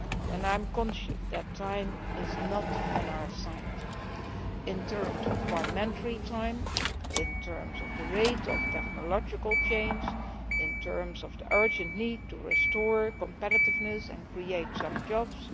And I am conscious that time is not on our side in terms of parliamentary time, in terms of the rate of technological change, in terms of the urgent need to restore competitiveness and create some jobs.